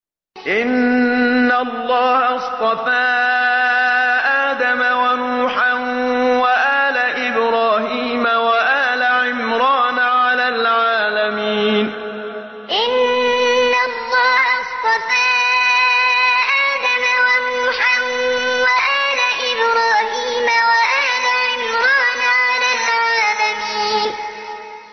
۞ إِنَّ اللَّهَ اصْطَفَىٰ آدَمَ وَنُوحًا وَآلَ إِبْرَاهِيمَ وَآلَ عِمْرَانَ عَلَى الْعَالَمِينَ ۞ إِنَّ اللَّهَ اصْطَفَىٰ آدَمَ وَنُوحًا وَآلَ إِبْرَاهِيمَ وَآلَ عِمْرَانَ عَلَى الْعَالَمِينَ